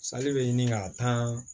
bɛ ɲini ka taa